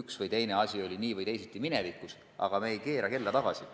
üks või teine asi oli minevikus nii või teisiti, aga me ei keera kella tagasi.